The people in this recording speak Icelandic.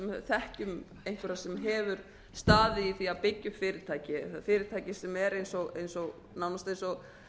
þekkjum einhverja sem hefur staðið í því að byggja upp fyrirtæki fyrirtæki sem er eins og nánast eins og